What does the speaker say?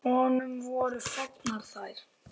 Honum voru fengnar þær.